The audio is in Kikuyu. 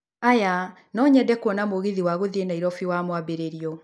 oya no nyende kuona mũgithi wa gũthiĩ Nairobĩ wamwambĩrĩrio